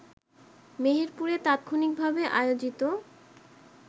মেহেরপুরে তাৎক্ষণিকভাবে আয়োজিত